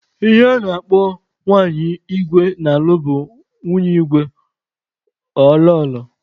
Ihe a na-akpọ nwanyị igwe na-alụ bụ nwunye igwe/ Lọlọ.